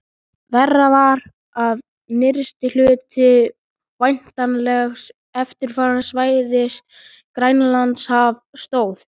Verra var, að nyrsti hluti væntanlegs eftirlitssvæðis, Grænlandshaf, stóð